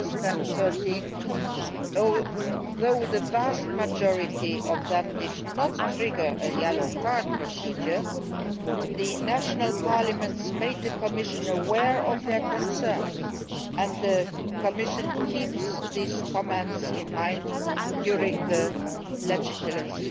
2013. Although the vast majority of them did not trigger a yellow card procedure, the national parliaments made the Commission aware of their concerns and the Commission keeps these comments in mind during the legislative